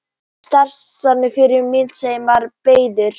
Starfsvettvangur föður míns var breiður.